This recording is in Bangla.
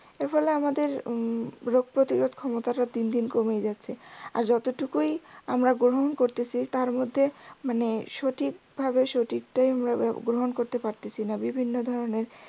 এর ফলে আমাদের উম রোগ প্রতিরোদ ক্ষমতাটা দিন দিন কমে যাচ্ছে আর যতটুকুই আমরা গ্রহণ করতেছি তার মধ্যে মানে সঠিকভাবে সঠিকটাই গ্রহণ করতে পারতেসিনা বিভিন্ন ধরণের